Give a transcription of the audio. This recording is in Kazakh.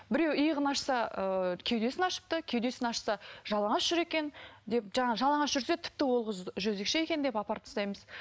біреу иығын ашса ыыы кеудесін ашыпты кеудесін ашса жалаңаш жүр екен деп жаңағы жалаңаш жүрсе тіпті ол қыз жезөкше екен деп апарып тастаймыз